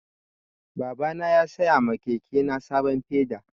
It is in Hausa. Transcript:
Baba na ya saya ma keke na sabon feda